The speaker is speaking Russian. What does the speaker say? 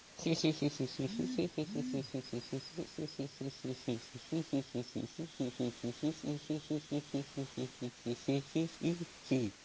хи-хи